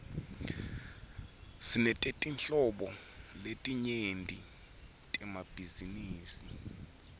sinetetinhlobo letinyenti temabhizinisi